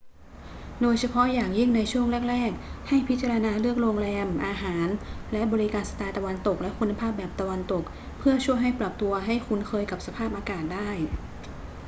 โดยเฉพาะอย่างยิ่งในช่วงแรก ๆ ให้พิจารณาเลือกโรงแรม อาหาร และบริการสไตล์ตะวันตกและคุณภาพแบบตะวันตก เพื่อช่วยให้ปรับตัวให้คุ้นเคยกับสภาพอากาศได้